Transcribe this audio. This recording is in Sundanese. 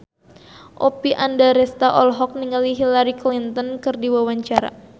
Oppie Andaresta olohok ningali Hillary Clinton keur diwawancara